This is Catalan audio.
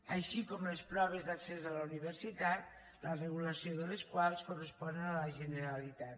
així com les proves d’accés a la universitat la regulació de les quals correspon a la generalitat